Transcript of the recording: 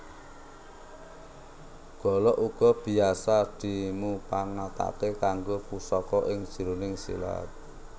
Golok uga biasa dimupangatake kanggo pusaka ing jroning silat